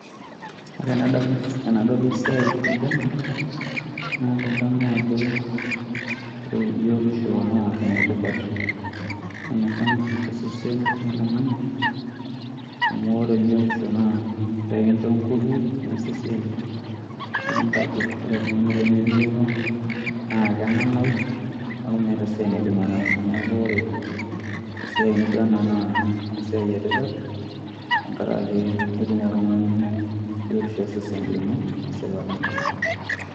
Ore enadamu enadol esiai nijo ena, na kadamu ajo ore biotisho naa enetipat sanasana tosesen loltung'ani, amu ore biotisho naa ekincho ngufu nias esiai, nikintagol. Ore oltung'ani lemebioto, naa kenanau, neeku meeta esiai naidim ataasa. Neeku ore esiai nijo ena naa esiai etipat, tenkaraki aitum oltung'ani biotisho osesen lino, tesipata.